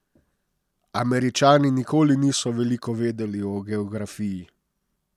Američani nikoli niso veliko vedeli o geografiji.